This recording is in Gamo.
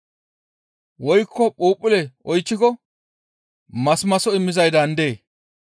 Woykko phuuphphulle oychchiko masimaso immizay daandee?